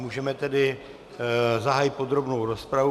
Můžeme tedy zahájit podrobnou rozpravu.